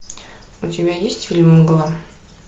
у тебя есть фильм мгла